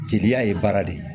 Jeliya ye baara de ye